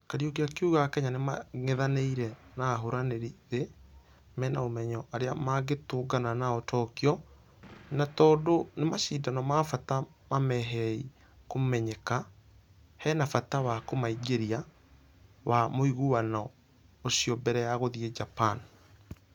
Kariuki akĩuga akenya nĩmangethanĩire na ahũrani ĩthĩ mena ũmenyo arĩa mangetũngana nao tokyo na tũndũ nĩ mashidano ma bata mamaheiee kũmenyeka , hĩna bata wa kũmaingĩria ....wa mũiganano ũcio mbere ya gũthie japan.